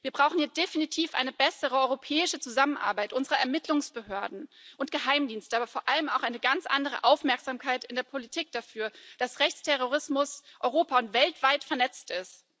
Wir brauchen hier definitiv eine bessere europäische Zusammenarbeit unserer Ermittlungsbehörden und Geheimdienste, aber vor allem auch eine ganz andere Aufmerksamkeit in der Politik dafür, dass Rechtsterrorismus europa und weltweit vernetzt ist.